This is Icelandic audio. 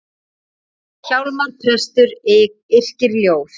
Hjálmar prestur yrkir ljóð.